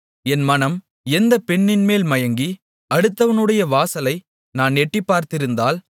என் மனம் எந்தப் பெண்ணின்மேல் மயங்கி அடுத்தவனுடைய வாசலை நான் எட்டிப் பார்த்திருந்தால்